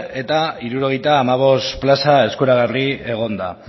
eta hirurogeita hamabost plaza eskuragarri egon da